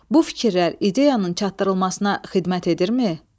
Bu fikirlər ideyanın çatdırılmasına xidmət edirmi?